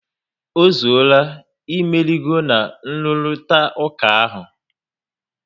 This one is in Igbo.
Ozuola, imeligo na nruritauka ahụ